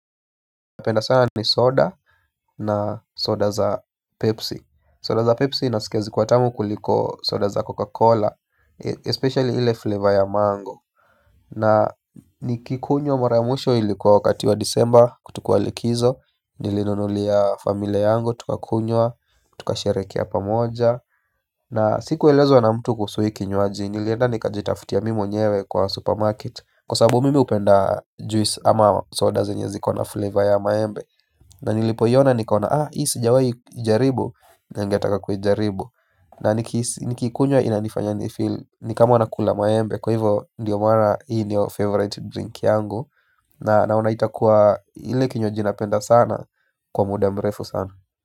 Napenda sana ni soda na soda za pepsi. Soda za pepsi nasikia zikiwa tamu kuliko soda za coca cola Especially ile flavor ya mango. Na nikikunywa mara mwisho ilikuwa wakati wa disemba, tulikua likizo. Nilinunulia familia yangu tukakunywa, tukasherehekea pamoja, na sikuelezwa na mtu kuhusu hii kinywaji, nilienda nikajitafutia mimi mwenyewe kwa supermarket. Kwa sababu mimi hupenda juice ama soda zenye ziko na flavor ya maembe. Na nilipoiona nikaona, ah, hii sijawahi jaribu, na ningetaka kuijaribu. Na nikiikunywa inanifanya nifeel, ni kama nakula maembe kwa hivo, ndio maana hii ndio favorite drink yangu. Na naona itakuwa ile kinywaji napenda sana kwa mudamrefu sana.